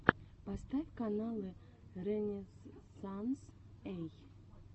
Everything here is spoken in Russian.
поставь каналы рэнэзсанс эй